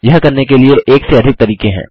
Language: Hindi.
यह करने के लिए एक से अधिक तरीके हैं